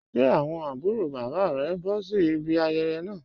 Ṣẹ́ awọn abùrò baba rẹ̀ ǹ bọ̀ sí ìbí ayéyé naa?